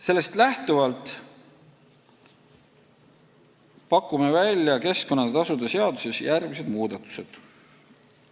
Sellest lähtuvalt pakume välja keskkonnatasude seaduses järgmised muudatused.